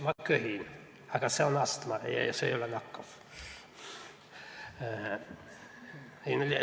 Ma köhin, aga see on astma ja see ei ole nakkav.